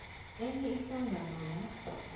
enye ihlangano la